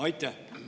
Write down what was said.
Aitäh!